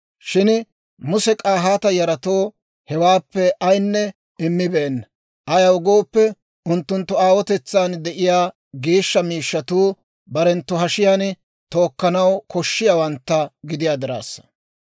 Shin Muse K'ahaata yaratoo hewaappe ayaanne immibeenna; ayaw gooppe, unttunttu aawotetsaan de'iyaa geeshsha miishshatuu barenttu hashiyaan tookkanaw koshshiyaawantta gidiyaa diraassa.